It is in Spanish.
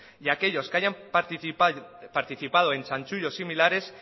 y aquellos que hayan participado en chanchullos similares